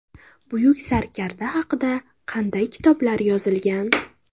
Buyuk sarkarda haqida qanday kitoblar yozilgan?.